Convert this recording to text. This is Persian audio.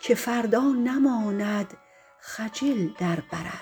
که فردا نماند خجل در برت